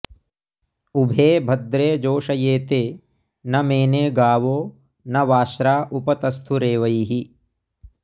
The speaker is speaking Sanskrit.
उभे भद्रे जोषयेते न मेने गावो न वाश्रा उप तस्थुरेवैः